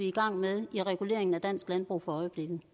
i gang med i reguleringen af dansk landbrug for øjeblikket